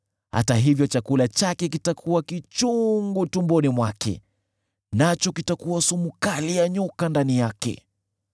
Hata hivyo chakula chake kitakuwa kichungu tumboni mwake, nacho kitakuwa sumu kali ya nyoka ndani yake.